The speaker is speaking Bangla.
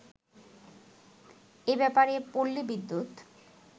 এব্যাপারে পল্লী বিদ্যুৎ